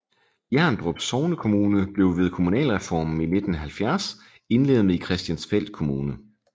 Hjerndrup sognekommune blev ved kommunalreformen i 1970 indlemmet i Christiansfeld Kommune